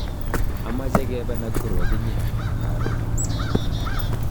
achame kebe Nakuru ak inye. karon